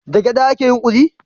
Da gyada ake yin kuli?